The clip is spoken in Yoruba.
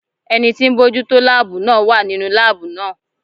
Ẹni tí ń bójú tó láàbù náà wà nínú láàbù náà.